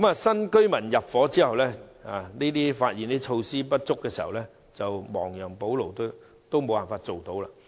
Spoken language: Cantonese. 新屋邨居民入伙之後，發現設施不足，想亡羊補牢也做不到。